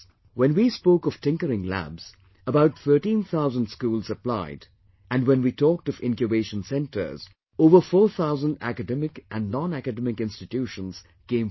When we spoke of Tinkering Labs, about 13 thousand schools applied and when we talked of Incubation Centres, over four thousand academic and nonacademic institutions came forward